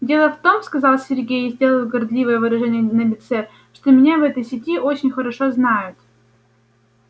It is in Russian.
дело в том сказал сергей и сделал горделивое выражение на лице что меня в этой сети очень хорошо знают